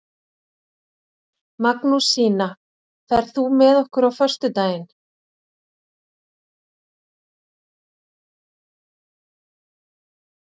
Magnúsína, ferð þú með okkur á föstudaginn?